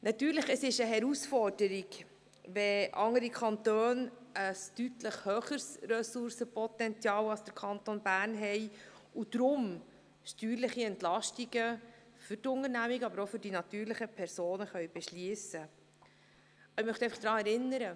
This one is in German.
Natürlich, es ist eine Herausforderung, wenn andere Kantone ein deutlich höheres Ressourcenpotenzial haben als der Kanton Bern und deswegen steuerliche Entlastungen für die Unternehmungen, aber auch für die natürlichen Personen beschliessen können.